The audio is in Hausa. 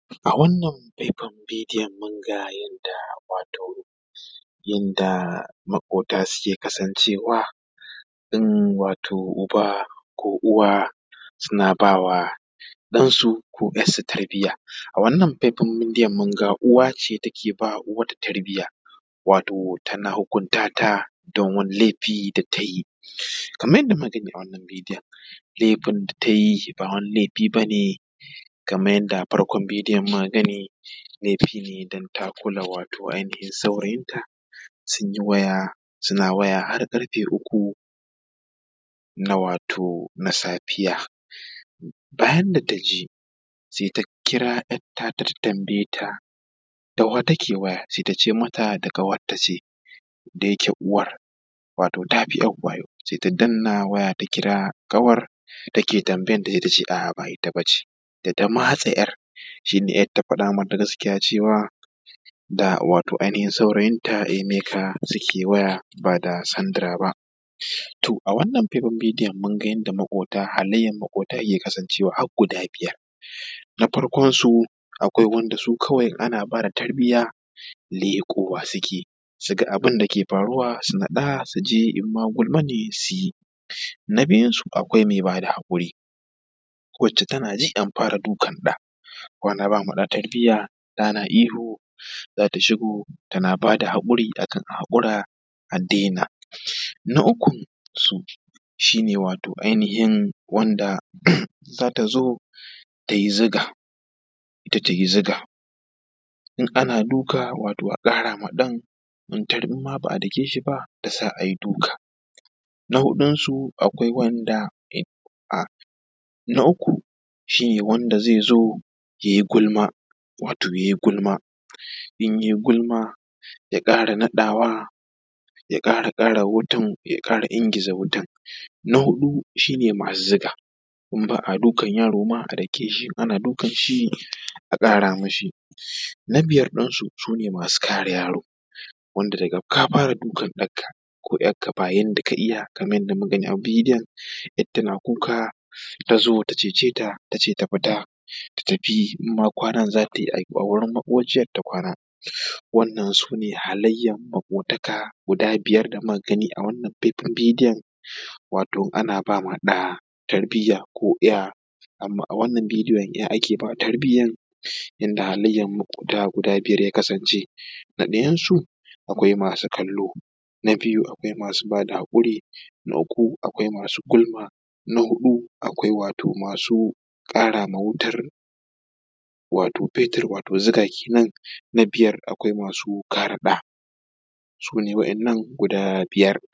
A wannan faifan bidiyon mun ga yanda wato yanda maƙota wato suke kasancewa wato uba ko uwa suna ba wato ɗansu ko ‘yarsu tarbiya. A wannan faifan bidiyon mun ga uwa ce take ba uwar tarbiyya wato tana hukunta ta wato don wani laifi da tayi, kaman yanda muke gani a wannan bidiyon lefin da ta yi ba wani laifi bane kaman yanda farkon bidiyon muka gani laifi ne wato don ta kula wato ainihin saurayinta sun yi waya suna waya har ƙarfe uku na wato na safiya. Bayan da ta ji sai ta kira ‘yar ta ta tambaye ta da wa take waya sai ta ce mata da ƙawarta ce. Da yake uwar tafi ‘yar wayau sai ta danna waya ta kira ƙawar take tambayan ta sai tace a’a ba ita ba ce. Da ta matse ‘yar sai ‘yar ta faɗa mata gaskiya cewa da wato ainihin saurayinta emeka suke waya ba da sandara ba. To a wannan faifan bidiyon mun ga yanda maƙota halayyan maƙota yake kasancewa har guda biyar. Na farkon su akwai wanda su kawai ana ba da tarbiyya leƙowa suke su ga abun da ke faruwa su faɗa su je in ma gulma ne su yi. Na biyun su akwai mai ba da haƙuri ku ci tana ji an fara dukan ɗa ko ana ba da tarbiyya ɗa na ihu za ta shigo tana ba da hakuri akan a haƙura a daina. Na ukun su shi ne wato ainihin wanda za ta zo tai zuga tai ta zuga in ana duka wato a ƙara ma ɗan idan ma ba a dake shi ba tasa ai duka. Na huɗun su akwai wanda a na uku shine wanda zai zo yai gulma wato yai gulma in yai gulma ya ƙara naɗawa ya ƙara ƙara wuta ya ƙara ingiza watan. Na huɗu shi ne masu zuga inba a dukan yaro ma a dake shi in ana duka a ƙara mishi. Na biyar ɗin su shi ne masu kare yaro wanda daga ka fara dukan ɗanka ko ‘yarka ba yanda ka iya kaman yanda muka gani a bidiyonn ‘yarta na kuka ta zo ta cece ta ta ce ta fita ta tafi in ma kwanan za ta yi a wurin maƙociyan ta kwana wannan sune halayyan maƙotaka guda biyar da muka gani a wannan faifan bidiyon wato ana ba ma ɗa tarbiyya ko ‘ya. Amman a wannan bidiyon ‘ya ake ba tarbiyyan inda halayyan maƙota guda biyar ya kasance. Na ɗayan su akwai masu kallo. Na biyun su akwai masu bada haƙuri. Na uku akwai gulma. Na hudu akwai wato masu ƙara ma wutan wato fetir wato zuga kenan. Na biyar akwai masu kare ɗa. Sune waɗannan guda biyar.